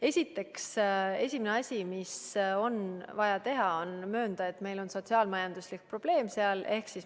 Esiteks, esimene asi, mis on vaja teha, on möönda, et meil on seal sotsiaal-majanduslik probleem.